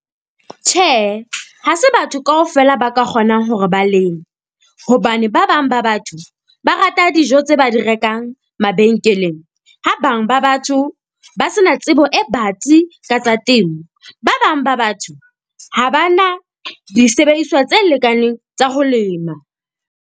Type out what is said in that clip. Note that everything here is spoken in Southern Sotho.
Tjhe, ha se batho kaofela ba ka kgonang hore ba leme, hobane ba bang ba batho ba rata dijo tse ba di rekang mabenkeleng. Ha bang ba batho ba se na tsebo e batsi ka tsa temo, ba bang ba batho ha ba na disebediswa tse lekaneng tsa ho lema.